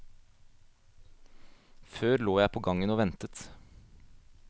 Før lå jeg på gangen og ventet.